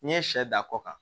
N'i ye sɛ da kɔ kan